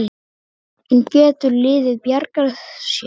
En getur liðið bjargað sér?